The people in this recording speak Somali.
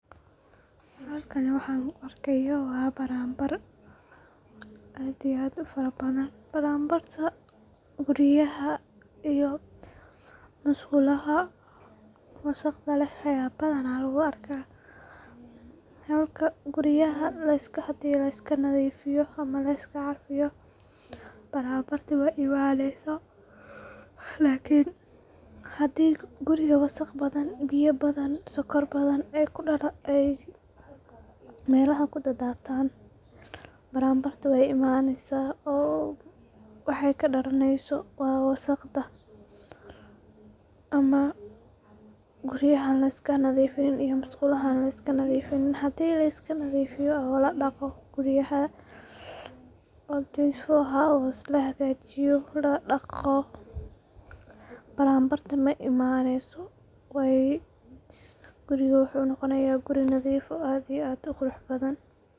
Halkan waxan kuuarkayo waa baranbar aad iyo aad ufarabadhan, baranbarka guriyaha ama masqulaha wasaqda leh aya badaana lagu arka, halka guriyaha hadi liska nadifiyo ama liska carfiyo baranbarta maimaneyso, lakin hadi guriga waxaq badhan, biyo badhan, sokor badhan ay melaha kudadatan baran barta way imaneysa oo waxay kadalaneyso waa wasaqda ama guriyaha liska nadifinin oo an masqulaha liska nadifinin, hadi liskanadifiyo oo ladoqo guriyaha oo twenty four hours laa hagajiyo, ladoqo baranbarta maimaneyso guriga wuxu noqonaya guri nadif ah oo aad iyo aad uquraxbadhan.